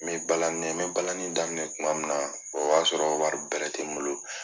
N mi balani, n mi balani daminɛ tuma min na, o y'a sɔrɔ wari bɛrɛ tɛ n bolo.